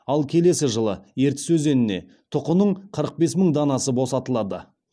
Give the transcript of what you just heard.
ал келесі жылы ертіс өзеніне тұқының қырық бес мың данасы босатылады